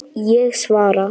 Ég svara.